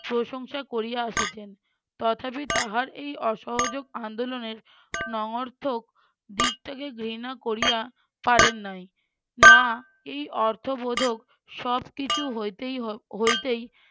প্রশংসা করিয়া আসিছেন। তথাপি তাহার এই অসহযোগ আন্দোলনের নঅর্থক দিকটাকে ঘৃণা করিয়া পারেন নাই। না এই অর্থবোধক সবকিছু হইতেই হ~ হইতেই